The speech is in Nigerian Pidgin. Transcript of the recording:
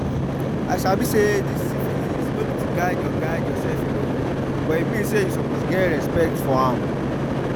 i sabi say this syphilis no be to guide your guide your self alone but e mean say you supposed get respect for am